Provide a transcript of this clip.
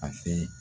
A fɛ